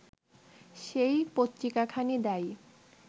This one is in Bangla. সেই পত্রিকাখানি দায়ী